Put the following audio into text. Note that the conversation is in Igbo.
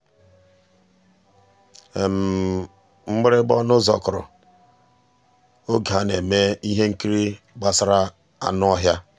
mgbìrìgbà ọnụ́ ụ́zọ̀ kụ́rụ̀ n'ògé á ná-èmè íhé nkírí gbàsàrà ànú ọ́híá.